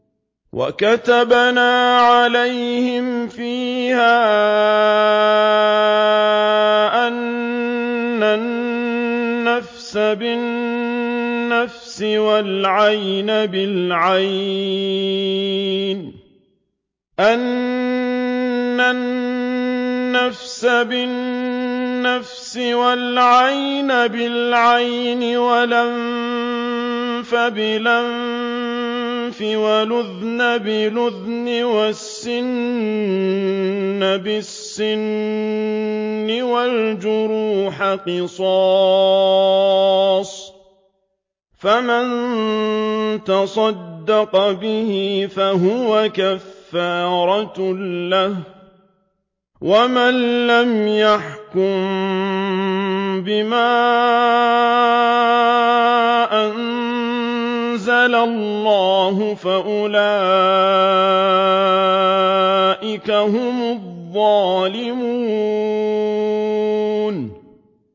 وَكَتَبْنَا عَلَيْهِمْ فِيهَا أَنَّ النَّفْسَ بِالنَّفْسِ وَالْعَيْنَ بِالْعَيْنِ وَالْأَنفَ بِالْأَنفِ وَالْأُذُنَ بِالْأُذُنِ وَالسِّنَّ بِالسِّنِّ وَالْجُرُوحَ قِصَاصٌ ۚ فَمَن تَصَدَّقَ بِهِ فَهُوَ كَفَّارَةٌ لَّهُ ۚ وَمَن لَّمْ يَحْكُم بِمَا أَنزَلَ اللَّهُ فَأُولَٰئِكَ هُمُ الظَّالِمُونَ